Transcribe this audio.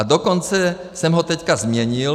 A dokonce jsem ho teď změnil.